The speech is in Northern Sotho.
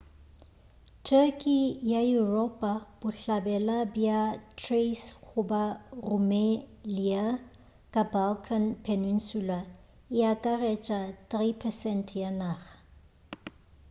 turkey ya yuropa bohlabela bja thrace goba rumelia ka balkan peninsula e akaretša 3% ya naga